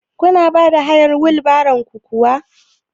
Kuna bada hayar wil baron ku kuwa?